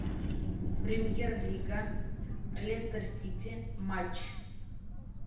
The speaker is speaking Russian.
премьер лига лестер сити матч